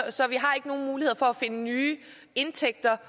så vi har ikke nogen muligheder for at finde nye indtægter